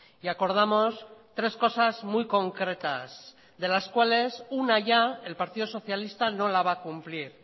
y acordamos tres cosas muy concretas de las cuales una ya el partido socialista no la va a cumplir